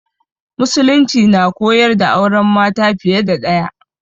Musulunci na koyar da auren mace fiye da ɗaya.